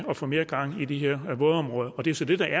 at få mere gang i de her vådområder det er så det der